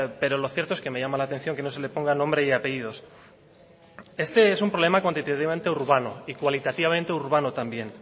pero lo cierto es que me llama la atención que no se le ponga nombre y apellidos este es un problema cuantitativamente urbano y cualitativamente urbano también